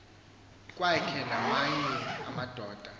kwakhe namanye amadoda